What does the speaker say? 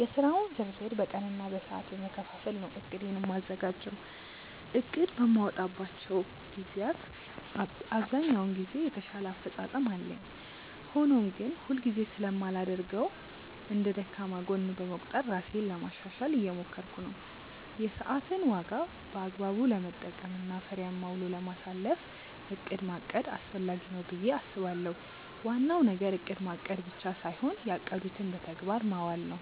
የስራውን ዝርዝር በቀን እና በሰዓት በመከፋፈል ነው እቅዴን የማዘጋጀው። እቅድ በማወጣባቸው ግዜያት ብዛኛውን ጊዜ የተሻለ አፈፃፀም አለኝ። ሆኖም ግን ሁል ጊዜ ስለማላደርገው እንደ ደካማ ጎን በመቁጠር ራሴን ለማሻሻሻል እየሞከርኩ ነው። የሰዓትን ዋጋ በአግባቡ ለመጠቀም እና ፍሬያማ ውሎ ለማሳለፍ እቅድ ማቀድ አስፈላጊ ነው ብዬ አስባለሁ። ዋናው ነገር እቅድ ማቀድ ብቻ ሳይሆን ያቀዱትን በተግባር ማዋል ነው።